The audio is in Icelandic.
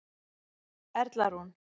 Erla Rún.